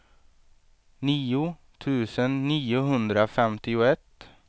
nio tusen niohundrafemtioett